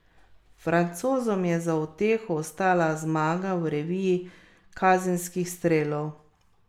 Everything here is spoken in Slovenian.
Francozom je za uteho ostala zmaga v reviji kazenskih strelov.